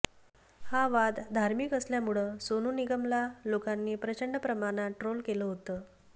हा वाद धार्मिक असल्यामुळं सोनू निगमला लोकांनी प्रचंड प्रमाणात ट्रोल केलं होतं